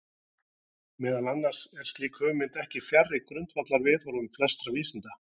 Meðal annars er slík hugmynd ekki fjarri grundvallarviðhorfum flestra vísinda.